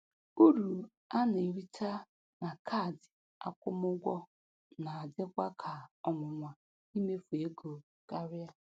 Uru a na-erita na kaadị akwụmụgwọ na-adịwa ka ọnwụnwa imefu ego karịa.